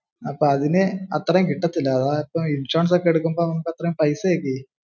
അപ്പോ അതിന് അത്രേം കിട്ടത്തില്ല. അതായത് ഇൻഷുറൻസ് ഒക്കെ എടുക്കുമ്പോ അത്രേം പൈസ ഒക്കെയേ.